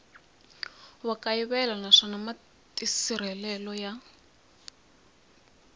wa kayivela naswona matirhiselo ya